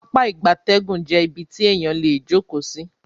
Pápá ìgbatẹ́gùn jé ibí tí eyan lẹ jókó sí